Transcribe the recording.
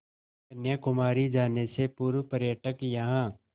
कन्याकुमारी जाने से पूर्व पर्यटक यहाँ